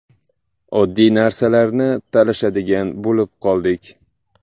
Oddiy narsalarni talashadigan bo‘lib qoldik.